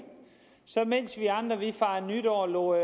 mens vi andre fejrede nytår og lod